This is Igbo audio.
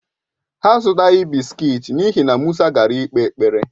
Ha azùtaghi bị́sikití n'ihi na Musa gara ikpe ekpere